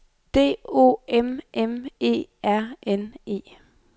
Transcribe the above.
D O M M E R N E